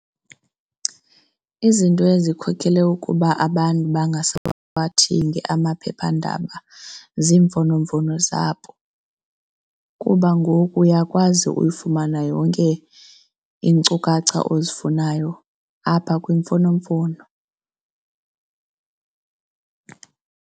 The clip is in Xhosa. Izinto ezikhokele ukuba abantu bangasawathengi amaphephandaba ziimfonomfono zabo kuba ngoku uyakwazi uyifumana yonke iinkcukacha ozifunayo apha kwimfonomfono.